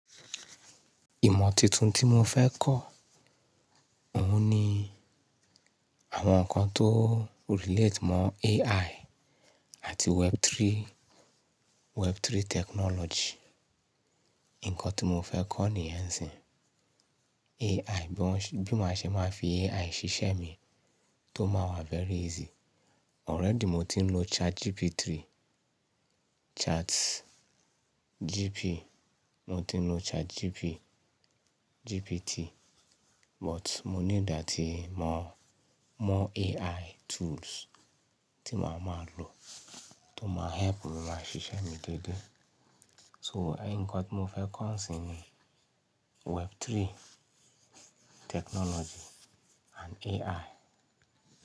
Ìmọ̀ titun tí mo fẹ́ kọ́, òhun ni àwọn nǹkan tó relate mọ AI àti Web3, Web3 technology. Ǹkan tí mo fẹ́ kọ́ nìyẹn síin. AI bí ma ṣe máa fi AI ṣiṣẹ́ mi tó máa wá very easy. Already mo ti ń lo ChatGPT, Chat GP, mo ti ń lo Chat GP, GPT, but mo need à ti mọ̀, mọ AI tools tí màá máa lò tó máa help màá ṣiṣẹ́ mi déédéé. So ǹkan tí mo fẹ́ kọ́ nísìnyí ni Web3 technology and AI.